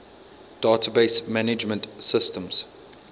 database management systems